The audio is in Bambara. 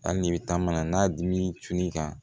Hali ni bɛ taa mana n'a dimi tun'i kan